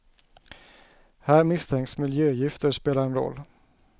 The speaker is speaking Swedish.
Här misstänks miljögifter spela en roll.